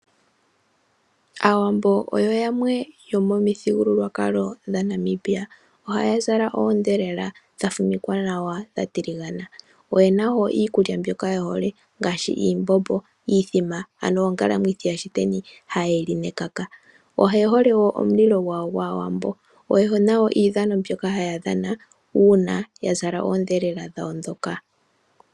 Aawambo oyo yamwe yomomithigululwaakalo dhaNamibia, ohaya zala oodhelela, dha fumikwa nawa dha tiligana, oyena wo iikulya mbyoka ye hole ngaashi iimbombo, iithima ano ongalamwithi yashiteni haye yi li nekaka. Oye hole wo omulilo gwawo gwaawambo. Oye na wo iidhano mbyoka haya dhana uuna ya zala oondhelela dhawo ndhoka.